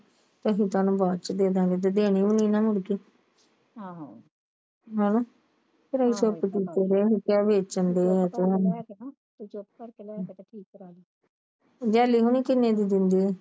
ਅਸੀਂ ਤੈਨੂੰ ਬਾਅਦ ਚ ਦੇਦਾ ਗਏ ਜੇ ਦੇਣੀ ਹੋਈ ਮੁੜਕੇ ਹਣਾ ਘਰੇ ਸੈੱਟ ਕਿਤੇ ਤਾਣੀ ਵੇਚਣ ਦਇਆ ਲੈਲੀ ਹੁਣੇ ਕਿਨੇ ਦੀ ਦੇਦੇ ਆ